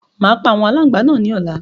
Màá pa àwọn aláǹgbá náà ní ọ̀la